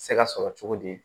Se ka sɔrɔ cogo di